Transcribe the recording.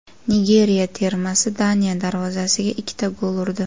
Nigeriya termasi Daniya darvozasiga ikkita gol urdi.